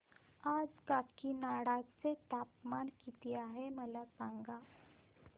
आज काकीनाडा चे तापमान किती आहे मला सांगा